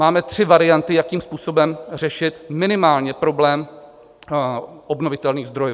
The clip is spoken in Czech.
Máme tři varianty, jakým způsobem řešit minimálně problém obnovitelných zdrojů.